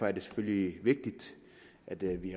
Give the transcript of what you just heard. er det selvfølgelig vigtigt at vi